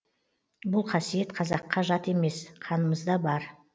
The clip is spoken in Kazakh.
бұл қасиет қазаққа жат емес қанымызда бар